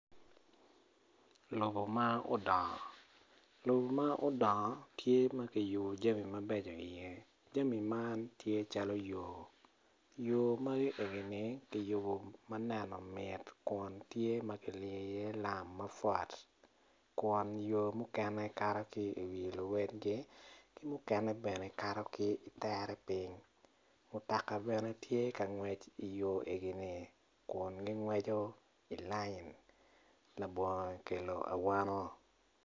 Lobo ma odngo lobo ma odngo tye ma kuyubo jami mabeco iye jami man tye calo yo yomafi enini ki yubo ma neno mit kun tye ki liyo iye lam kun o mukene kato ki i wi luedgi mukene bene kato ki i tere piny mutoka bene tye ka ngwec i yo enini kun gingwec i layin labongo kelo awano.